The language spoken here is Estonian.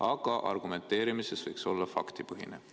Aga argumenteerimises võiks olla faktipõhine.